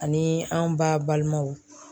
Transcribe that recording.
Ani an ba balimaw.